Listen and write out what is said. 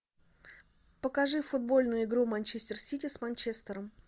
покажи футбольную игру манчестер сити с манчестером